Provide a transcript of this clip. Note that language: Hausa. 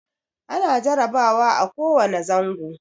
Ana jarabawa a ko wane zango.